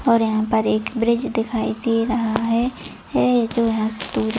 और यहाँ पे एक ब्रिज दिखाई दे रहा है है जो यहाँ से दूर--